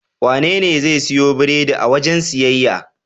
Wanene zai siyo biredi a wajen siyayya?